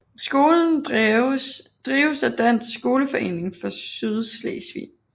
Skolen drives af Dansk Skoleforening for Sydslesvig